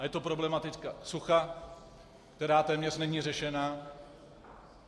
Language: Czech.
A je to problematika sucha, která téměř není řešena.